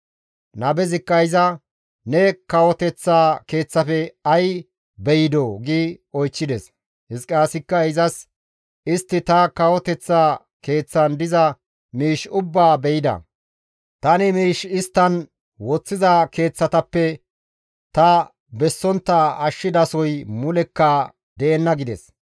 Nabezikka iza, «Ne kawoteththa keeththafe ay beydoo?» gi oychchides; Hizqiyaasikka izas, «Istti ta kawoteththa keeththan diza miish ubbaa be7ida; tani miish isttan woththiza keeththatappe ta bessontta ashshidasoy mulekka deenna» gides.